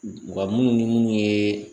U ka munnu ni munun ye